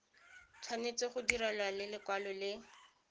tshwanetse go direlwa lekwalo le